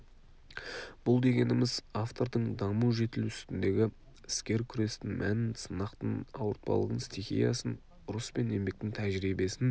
бұл дегеніміз автордың даму жетілу үстіндегі іскер күрестің мәнін сынақтың ауыртпалығын стихиясын ұрыс пен еңбектің тәжірибесін